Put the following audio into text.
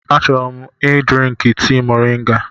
Achọrọ m ị drinkụ tii moringa.